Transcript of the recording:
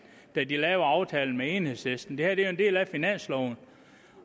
da de lavede aftalen med enhedslisten det her er jo en del af finansloven